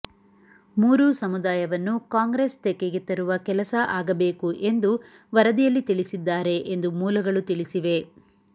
ಮೂರೂ ಸಮುದಾಯವನ್ನು ಕಾಂಗ್ರೆಸ್ ತೆಕ್ಕೆಗೆ ತರುವ ಕೆಲಸ ಆಗಬೇಕು ಎಂದು ವರದಿ ಯಲ್ಲಿ ತಿಳಿಸಿದ್ದಾರೆ ಎಂದು ಮೂಲಗಳು ತಿಳಿಸಿವೆ